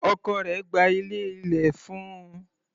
Ọkọ rẹ̀ gba ilé ilẹ̀ fún un.